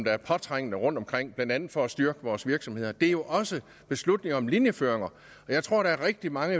er påtrængende rundtomkring blandt andet for at styrke vores virksomheder det er jo også beslutninger om linjeføringer jeg tror der er rigtig mange